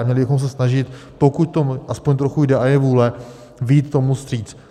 A měli bychom se snažit, pokud to aspoň trochu jde a je vůle, vyjít tomu vstříc.